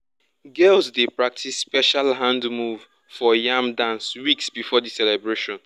girls dey practice special hand move for yam dance weeks before the celebration.